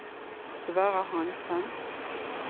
Sverre Hanssen